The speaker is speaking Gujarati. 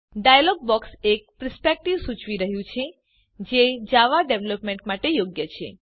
ડાયલોગ બોક્સ એક પર્સપેક્ટીવ સુચવી રહ્યુ છે જે જાવા ડેવલપમેંટ માટે યોગ્ય છે